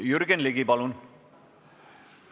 Jürgen Ligi, palun!